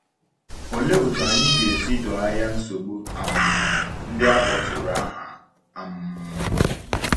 Ọ̀lee otú anyị ga-esi doo anya nsogbu um ndị a kpọtụrụ aha? um